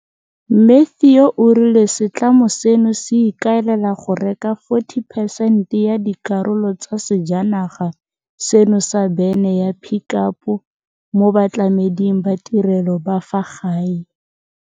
Matthew o rile setlamo seno se ikaelela go reka 40 percent ya dikarolo tsa sejanaga seno sa bene ya Pick Up mo batlameding ba ditirelo ba fa gae.